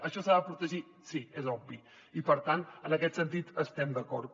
això s’ha de protegir sí és obvi i per tant en aquest sentit estem d’acord